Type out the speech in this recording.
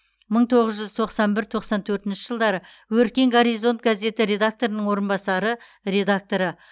мың тоғыз жүз тоқсан бір тоқсан төртінші жылдары өркен горизонт гаеті редакторының орынбасары редакторы